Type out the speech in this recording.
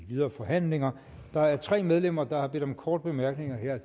videre forhandlinger der er tre medlemmer der har bedt om korte bemærkninger det er